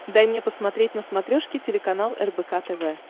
дай мне посмотреть на смотрешке телеканал рбк тв